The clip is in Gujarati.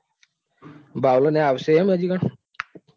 ભાવલો ને આવશે એમ હજુ કણ